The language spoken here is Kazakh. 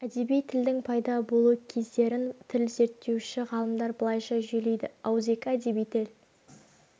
әдеби тілдің пайда болу кездерін тіл зерттеуші ғалымдар былайша жүйелейді ауызекі әдеби тіл